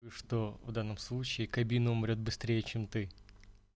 что в данном случае кабина умрёт быстрее чем ты